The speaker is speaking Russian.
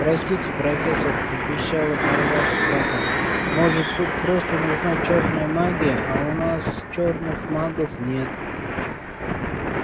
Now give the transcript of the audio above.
простите профессор пропищала парвати патил может тут просто нужна чёрная магия а у нас чёрных магов нет